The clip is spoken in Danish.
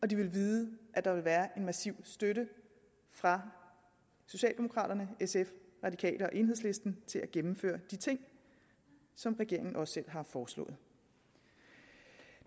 de vil vide at der vil være en massiv støtte fra socialdemokraterne sf radikale og enhedslisten til at gennemføre de ting som regeringen også selv har foreslået